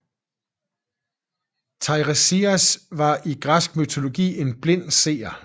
Teiresias var i græsk mytologi en blind seer